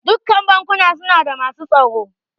Dukkan bankuna suna da masu tsaro.